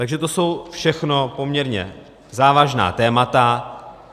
Takže to jsou všechno poměrně závažná témata.